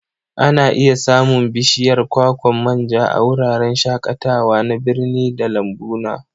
Ana iya samun bishiyar kwakwan manja a wuraren shakatawa na birni da lambuna.